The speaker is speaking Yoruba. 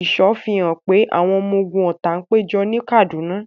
Ìṣọ́ fi hàn pé àwọn ọmọ ogun ọ̀tá ń péjọ ní Kaduna.